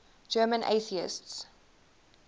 german atheists